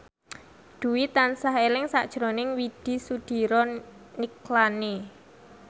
Dwi tansah eling sakjroning Widy Soediro Nichlany